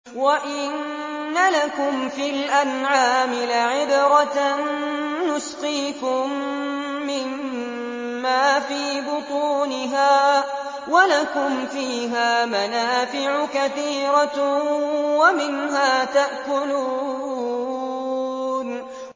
وَإِنَّ لَكُمْ فِي الْأَنْعَامِ لَعِبْرَةً ۖ نُّسْقِيكُم مِّمَّا فِي بُطُونِهَا وَلَكُمْ فِيهَا مَنَافِعُ كَثِيرَةٌ وَمِنْهَا تَأْكُلُونَ